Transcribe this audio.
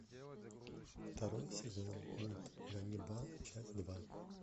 второй сезон мульт ганнибал часть два